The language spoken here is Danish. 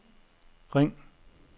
ring